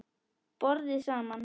BORÐIÐ SAMAN